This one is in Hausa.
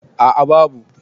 a a babu